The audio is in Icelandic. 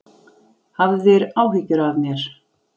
Hafðir áhyggjur af mér.